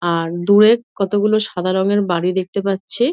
আর দূরে কতগুলো সাদা রঙের বাড়ি দেখতে পাচ্ছি।